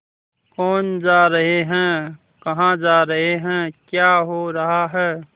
कौन जा रहे हैं कहाँ जा रहे हैं क्या हो रहा है